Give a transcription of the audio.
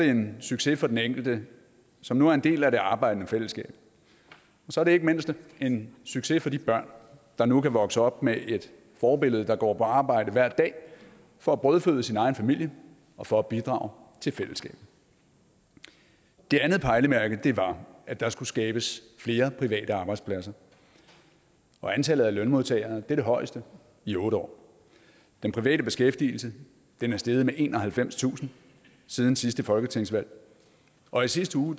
en succes for den enkelte som nu er en del af det arbejdende fællesskab og så er det ikke mindst en succes for de børn der nu kan vokse op med et forbillede der går på arbejde hver dag for at brødføde sin egen familie og for at bidrage til fællesskabet det andet pejlemærke var at der skulle skabes flere private arbejdspladser og antallet af lønmodtagere er det højeste i otte år den private beskæftigelse er steget med enoghalvfemstusind siden sidste folketingsvalg og i sidste uge